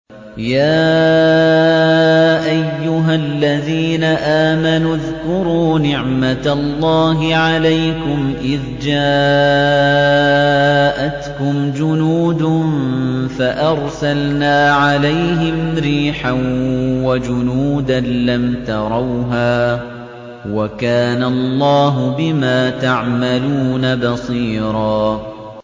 يَا أَيُّهَا الَّذِينَ آمَنُوا اذْكُرُوا نِعْمَةَ اللَّهِ عَلَيْكُمْ إِذْ جَاءَتْكُمْ جُنُودٌ فَأَرْسَلْنَا عَلَيْهِمْ رِيحًا وَجُنُودًا لَّمْ تَرَوْهَا ۚ وَكَانَ اللَّهُ بِمَا تَعْمَلُونَ بَصِيرًا